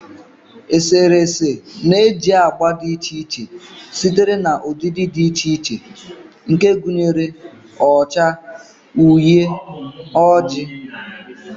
Eserese na-eji agba dị iche iche sitere na ụdịdị dị iche iche nke gụnyere ọcha, uhie, ojii wdg.